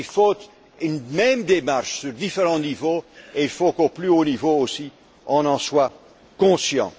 traîne. Il faut une même démarche sur différents niveaux et il faut qu'au plus haut niveau aussi, on en soit conscient.